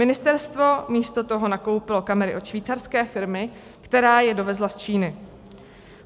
Ministerstvo místo toho nakoupilo kamery od švýcarské firmy, která je dovezla z Číny.